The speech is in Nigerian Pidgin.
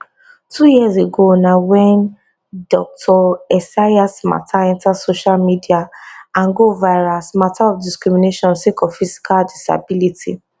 two years ago na wen dr esayas mata enta social media and go viral as mata of discrimination sake of physical disability